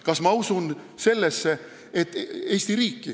Kas ma usun Eesti riiki?